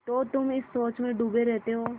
तो तुम इस सोच में डूबे रहते हो